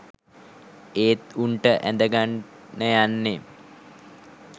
ඒත් උංට ඇඳගන්න යන්නේ